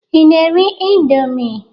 Ị na-eri indọmii?